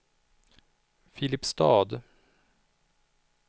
Filipstad